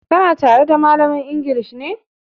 Ka na tare da malamar inglis ne?